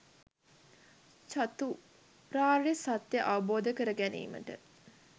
චතුරාර්ය සත්‍යය අවබෝධ කරගැනීමට